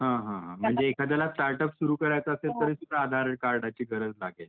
हं हं हं म्हणजे एखाद्याला अगदी स्टार्टअप सुरु असेल तरी सुद्धा आधार कार्डाची गरज लागेल.